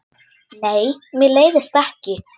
Nei, mér leiðist ekki.